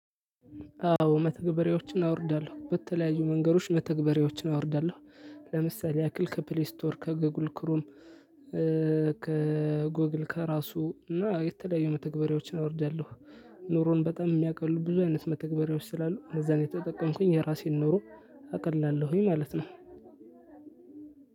አዎ መተግበሪያዎችን አወርዳለሁ በተለያዩ መንገዶች መተግበሪያዎችን አወርዳለሁ ለምሳሌ ያክል ከፕሌይ ስቶር ከጉግል ክሮም ከጉግል ከራሱ እና የተለያዩ መተግበሪያዎችን አወርዳለሁ። ኑሮን በጣም የሚያቀሉ ብዙ አይነት መተግበሪያዎች ስላሉ እነዛን እየተጠቀምኩኝ የራሴን ኑሮ አቀላለሁኝ ማለት ነው።